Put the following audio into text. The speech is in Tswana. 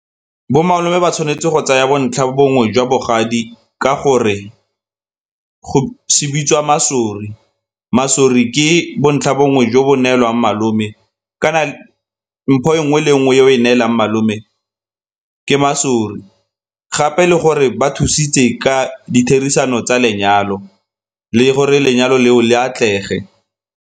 Bo malome ba tshwanetse go tsaya bontlhabongwe jwa bogadi ka gore se bitswa masori. Masori ke bontlhabongwe jo bo neelwang malome kana mpho e nngwe le nngwe e o e neelang malome ke masori, gape le gore ba thusitse ka ditherisano tsa lenyalo le gore lenyalo leo le atlege.